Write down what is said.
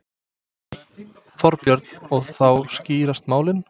Þorbjörn: Og þá skýrast málin?